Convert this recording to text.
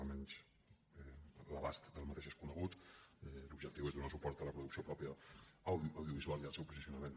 almenys l’abast d’aquest és conegut l’objectiu és donar suport a la producció pròpia audiovisual i al seu posicionament